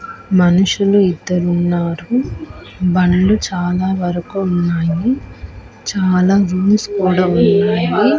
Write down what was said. మనుషులు ఇద్దరు ఉన్నారు బండ్లు చాలా వరకు ఉన్నాయి చాలా వీల్స్ కూడా ఉన్నాయి.